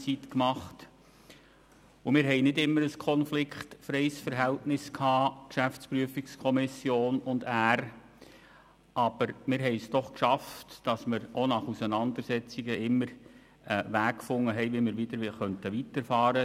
Die GPK und er hatten nicht immer ein konfliktfreies Verhältnis gehabt, aber wir schafften es doch, nach Auseinandersetzungen immer einen Weg zu finden, um weiterzufahren.